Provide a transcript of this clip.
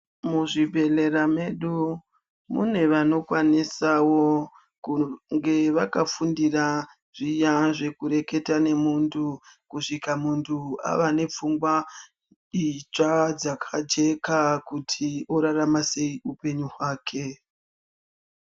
Muzvibhedhlera medu mune vanokwanisa kunge vakafundira zviya zvekureketa nemuntu kusvika muntu ava nepfungwa idzva dzakajeka kuti orarama sei hupenyu wake.